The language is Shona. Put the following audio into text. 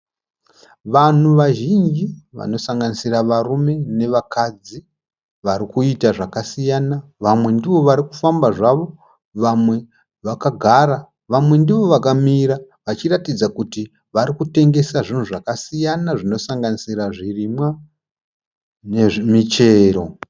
Vanhu vazhinji vanosanganisira varume nevakadzi vari kuita zvakasiyana. Vamwe ndivo vari kufamba zvavo vamwe vakagara vamwe ndoo vakamira vachiratidza kuti vari kutengesa zvinhu zvakasiyana zvino sanganisira zvirimwa nezvi michero.